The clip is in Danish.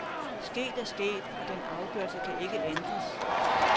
Sket er sket, og den afgørelse kan ikke ændres.